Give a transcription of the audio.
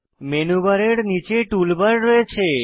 menu বারের নীচে tool bar রয়েছে